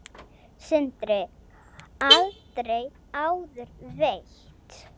Sindri: Aldrei áður veitt?